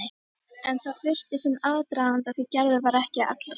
En það þurfti sinn aðdraganda því Gerður var ekki allra.